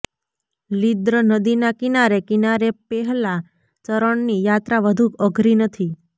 લીદ્ર્ર નદી ના કિનારે કિનારે પેહલા ચરણ ની યાત્રા વધુ અઘરી નથી